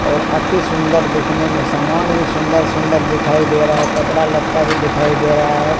और अति सुंदर दिखने में सामान भी सुंदर सुंदर दिखाई दे रहा है कपड़ा लता भी दिखाई दे रहा है।